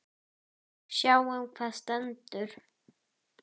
Sjáum hvað setur.